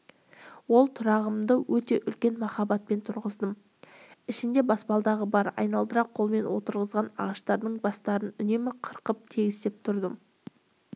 ол тұрағымды өте үлкен махаббатпен тұрғыздым ішінде баспалдағы бар айналдыра қолмен отырғызған ағаштардың бастарын үнемі қырқып тегістеп тұрдым